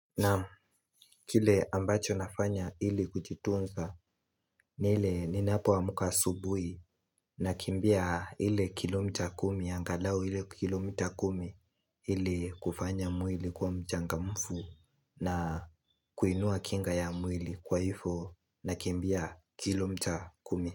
Naam kile ambacho nafanya ili kujitunza ni ile ninapo amka asubui na kimbia ile kilomita kumi angalau ile kilomita kumi ili kufanya mwili kuwa mchangamfu na kuinua kinga ya mwili kwa hifo na kimbia kilomita kumi.